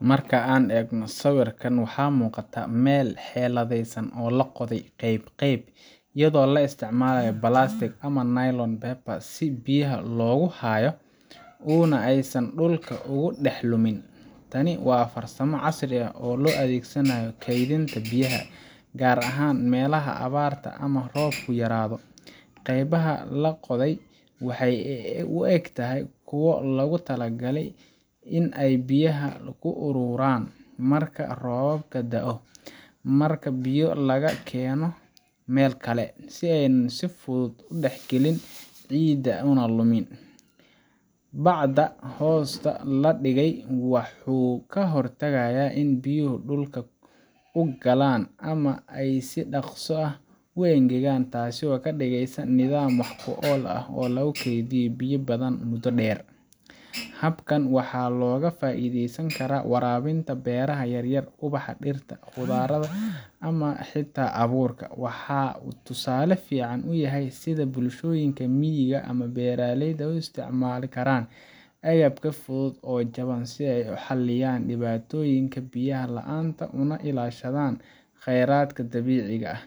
Marka aan eegno sawirkan, waxaa muuqata meel si xeeladaysan loo qoday qayb qayb, iyadoo la isticmaalay balaastiig ama nylon paper si biyaha loogu hayo una aysan dhulka ugu dhex lumin. Tani waa farsamo casri ah oo loo adeegsado kaydinta biyaha, gaar ahaan meelaha abaarta ama roobku yaraado. Qaybaha la qoday waxay u egtahay kuwo loogu talagalay in ay biyaha ku ururiyaan marka roob da’o ama marka biyo laga keeno meel kale, si aanay si fudud u dhexgelin ciidda una lumin. bacda hoosta la dhigay wuxuu ka hortagayaa in biyaha dhulka u galaan ama ay si dhaqso leh u engegaan, taasoo ka dhigaysa nidaam wax ku ool ah oo lagu kaydiyo biyo badan muddo dheer. Habkan waxaa looga faa’iideysan karaa waraabinta beeraha yaryar, ubaxa, dhirta khudaarta ama xitaa abuurka. Waxa uu tusaale fiican u yahay sida bulshooyinka miyiga ama beeraleyda u isticmaali karaan agab fudud oo jaban si ay u xalliyaan dhibaatooyinka biyaha la’aanta, una ilaashadaan kheyraadka dabiiciga ah.